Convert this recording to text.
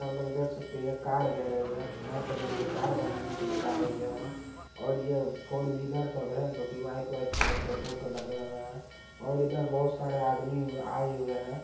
आप लोग सकते हैं ये कार गैरेज हैं यहाँ पर ये कार बनाने के लिए आये हुए हैं और ये फोर व्हीलर सब हैं जो कि व्हाइट व्हाइट कलर के दो ठो लगे हुए और इधर बहुत सारे आदमी आये हुए हैं।